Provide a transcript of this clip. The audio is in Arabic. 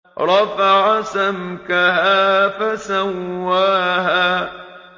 رَفَعَ سَمْكَهَا فَسَوَّاهَا